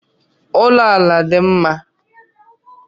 Ụlọ ala dị mma